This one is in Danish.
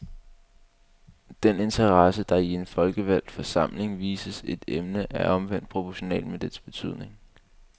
Den interesse, der i en folkevalgt forsamling vises et emne, er omvendt proportional med dets betydning.